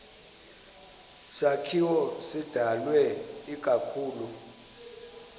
sakhiwo sidalwe ikakhulu